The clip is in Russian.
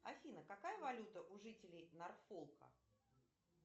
афина какая валюта у жителей норфолка